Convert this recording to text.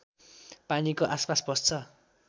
पानीको आसपास बस्छ